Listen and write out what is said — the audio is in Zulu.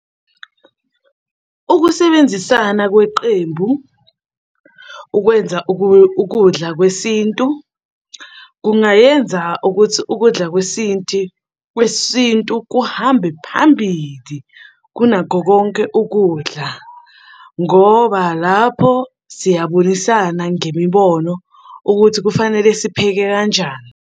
Ukusebenzisana kweqembu ukwenza ukudla kwesintu kungayenza ukuthi ukudla kwesinti, kwesintu kuhambe phambili kunakho konke ukudla, ngoba lapho siyabonisana ngemibono ukuthi kufanele sipheke kanjani.